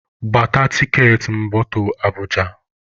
Gbata tiketi moto Abụja!